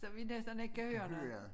Så vi næsten ikke kan høre noget